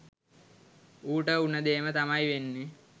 ඌට උන දේම තමයි වෙන්නෙ